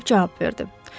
Filip cavab verdi.